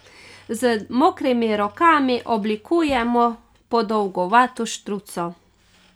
Z mokrimi rokami oblikujemo podolgovato štruco.